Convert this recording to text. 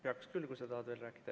Peaks küll, kui sa tahad veel rääkida.